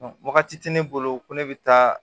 Wagati tɛ ne bolo ko ne bɛ taa